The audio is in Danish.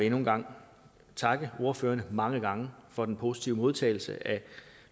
endnu en gang takke ordførerne mange gange for den positive modtagelse af